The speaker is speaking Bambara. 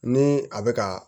Ni a bɛ ka